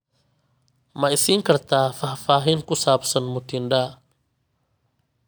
ma i siin kartaa faahfaahin ku saabsan mutinda